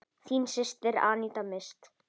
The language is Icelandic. Þín systir, Aníta Mist.